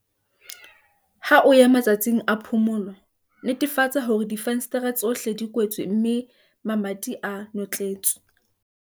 Ha o ya matsatsing a phomolo, netefatsa hore difenstere tsohle di kwetswe mme le mamati a notletswe.